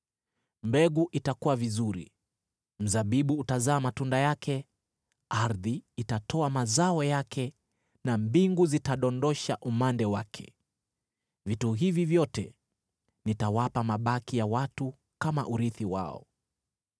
“Mbegu itakua vizuri, mzabibu utazaa matunda yake, ardhi itatoa mazao yake, na mbingu zitadondosha umande wake. Vitu hivi vyote nitawapa mabaki ya watu kama urithi wao.